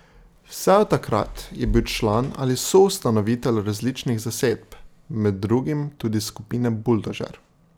Vse od takrat je bil član ali soustanovitelj različnih zasedb, med drugim tudi skupine Buldožer.